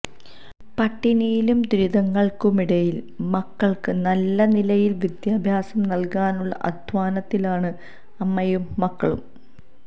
പട്ടിണിയിലും ദുരിതങ്ങള്ക്കുമിടയില് മക്കള്ക്ക് നല്ല നിലയില് വിദ്യാഭ്യാസം നല്കാനുള്ള അദ്ധ്വാനത്തിലാണ് അമ്മയും മകളും